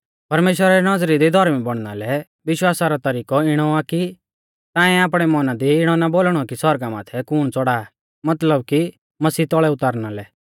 परमेश्‍वरा री नौज़री दी धौर्मी बौणना लै विश्वासा रौ तरिकौ इणौ आ कि ताऐं आपणै मौना दी इणौ ना बोलणौ कि सौरगा माथै कुण च़ौढ़ा मतलब कि मसीह तौल़ै उतारणा लै